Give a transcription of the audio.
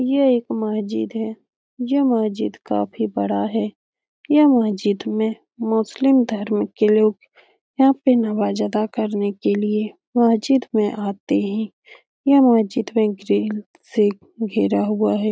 ये एक मस्जिद है। ये मस्जिद काफी बड़ा है। यह मस्जिद में मुस्लिम धर्म के लोग यहाँ पे नवाज अदा करने के लिए मस्जिद में आते है। ये मस्जिद में ग्रिल से घेरा हुआ है।